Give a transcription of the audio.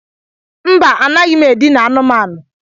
Mba, a naghị m e dina anumanu.